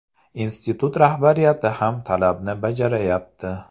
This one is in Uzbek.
Institut rahbariyati ham talabni bajarayapti.